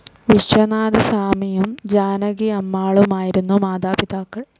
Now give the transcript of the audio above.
വിശ്വനാഥസ്വാമിയും ജാനകി അമ്മാളുമായിരുന്നു മാതാപിതാക്കൾ.